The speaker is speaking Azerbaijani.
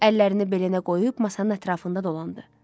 Əllərini belinə qoyub masanın ətrafında dolandı.